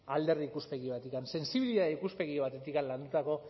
alderdi ikuspegi batetik sentsibilitate ikuspegi batetik landutako